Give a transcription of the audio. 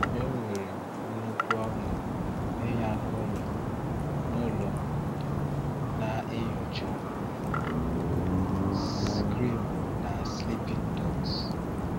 Enwere m nnukwu ọṅụ ịnya n’ụlọ n’ụlọ m, na-enyocha Skyrim na Sleeping Dogs.